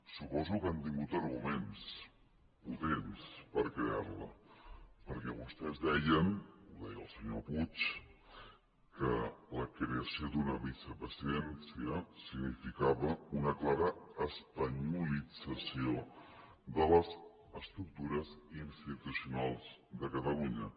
suposo que han tingut arguments potents per crear la perquè vostès deien ho deia el senyor puig que la creació d’una vicepresidència significava una clara espanyolitzacióde catalunya